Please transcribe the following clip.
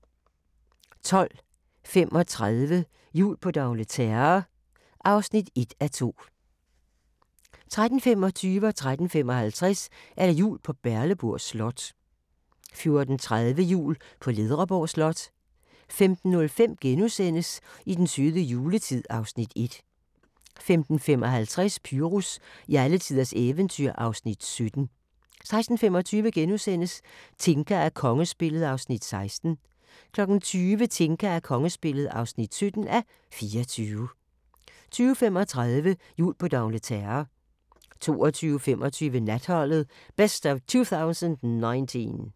12:35: Jul på d'Angleterre (1:2) 13:25: Jul på Valdemars Slot 13:55: Jul på Berleburg Slot 14:30: Jul på Ledreborg Slot 15:05: I den søde juletid (Afs. 1)* 15:55: Pyrus i alletiders eventyr (Afs. 17) 16:25: Tinka og kongespillet (16:24)* 20:00: Tinka og kongespillet (17:24) 20:35: Jul på d'Angleterre 22:25: Natholdet - best of 2019